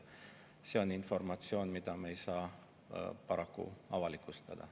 See on informatsioon, mida me ei saa paraku avalikustada.